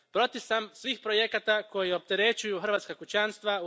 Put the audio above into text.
Protiv sam svih projekata koji opterećuju hrvatska kućanstva.